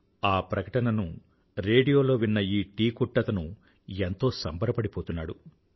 ఆ ప్రకటనను రేడియోలో విన్న ఈ టీ కొట్టతను ఎంతో సంబరపడిపోతున్నాడు